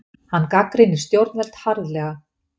Hann gagnrýnir stjórnvöld harðlega